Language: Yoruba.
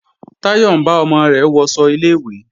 Táyọ̀ ń bá ọmọ rẹ̀ wọṣọ ilé-ìwé